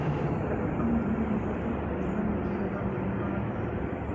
Andũ amwe no mahote kũgĩa na maumĩrĩra moru ma ndawa